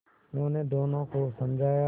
उन्होंने दोनों को समझाया